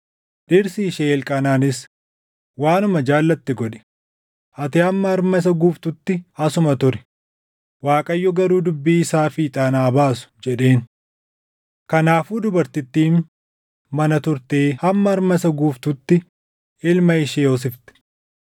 Dhirsi ishee Elqaanaanis, “Waanuma jaallatte godhi; ati hamma harma isa guusiftutti asuma turi; Waaqayyo garuu dubbii isaa fiixaan haa baasu” jedheen. Kanaafuu dubartittiin mana turtee hamma harma isa guusiftutti ilma ishee hoosifte.